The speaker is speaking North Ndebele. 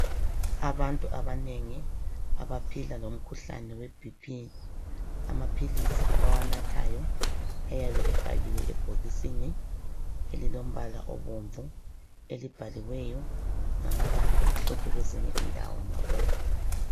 Abantu abanengi abaphila lomkhuhlane weBP amaphilisi abawanathayo ayabe efakiwe ebhokisini elilombala obomvu elibhaliweyo ngamabala amhlophe kwezinye indawo ngabomvu.